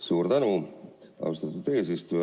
Suur tänu, austatud eesistuja!